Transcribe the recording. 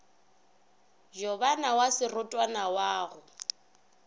jobana wa serotwana wa go